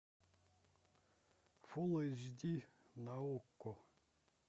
фул эйч ди на окко